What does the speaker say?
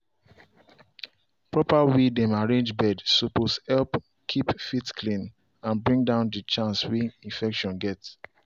proper way dem arrange bed suppose help keep feet clean and bring down the chance way infection get.